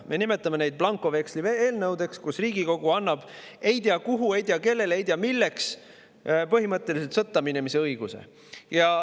Me nimetame neid blankoveksli eelnõudeks, millega Riigikogu annab ei tea kuhu, ei tea kellele, ei tea milleks põhimõtteliselt sõtta minemise õiguse.